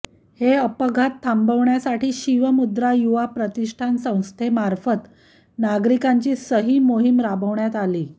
हे अपघात थांबवण्यासाठी शिवमुद्रा युवा प्रतिष्ठान संस्थेमार्फत नागरिकांची सही मोहीम राबवण्यात आली